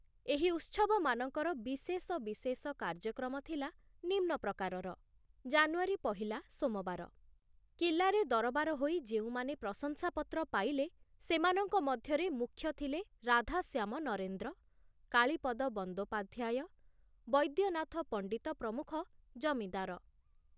ଏହି ଉତ୍ସବମାନଙ୍କର ବିଶେଷ ବିଶେଷ କାର୍ଯ୍ୟକ୍ରମ ଥିଲା ନିମ୍ନ ପ୍ରକାରର ଜାନୁଆରୀ ପହିଲା, ସୋମବାର କିଲ୍ଲାରେ ଦରବାର ହୋଇ ଯେଉଁମାନେ ପ୍ରଶଂସାପତ୍ର ପାଇଲେ, ସେମାନଙ୍କ ମଧ୍ୟରେ ମୁଖ୍ୟ ଥିଲେ ରାଧାଶ୍ୟାମ ନରେନ୍ଦ୍ର, କାଳୀପଦ ବନ୍ଦୋପାଧ୍ୟାୟ, ବୈଦ୍ୟନାଥ ପଣ୍ଡିତ ପ୍ରମୁଖ ଜମିଦାର।